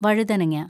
വഴുതനങ്ങ